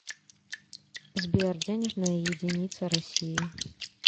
сбер денежная единица россии